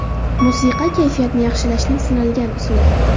Musiqa kayfiyatni yaxshilashning sinalgan usuli.